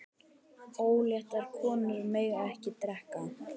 Óléttar konur mega ekki drekka.